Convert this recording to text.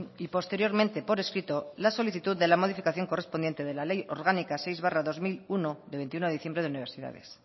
y posteriormente por escrito la solicitud de la modificación correspondiente de le ley orgánica seis barra dos mil uno de veintiuno de diciembre de universidades